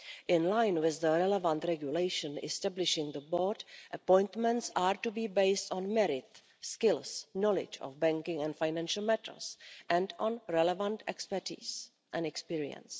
In line with the relevant regulation establishing the board, appointments are to be based on merit, skills, knowledge of banking and financial matters and on relevant expertise and experience.